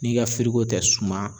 N'i ka tɛ suma